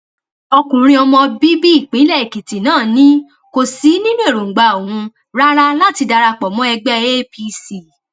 ọkùnrin ọmọ bíbí ìpínlẹ èkìtì náà ni kò sí nínú èròǹgbà òun rárá láti darapọ mọ ẹgbẹ apc